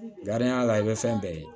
la i bɛ fɛn bɛɛ ye